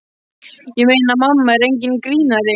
Ég meina, mamma er enginn grínari.